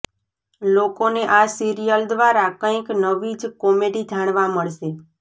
લોકોને આ સિરિયલ દ્વારા કંઇક નવી જ કોમેડી જાણવા મળશે